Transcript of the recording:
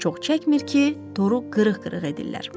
Çox çəkmir ki, toru qırıq-qırıq edirlər.